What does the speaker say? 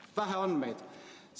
On vähe andmeid.